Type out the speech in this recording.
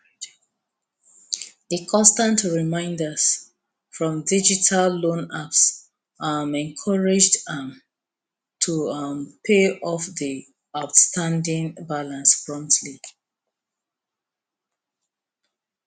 di constant reminders from digital loan apps um encouraged am to um pay off di outstanding balance promptly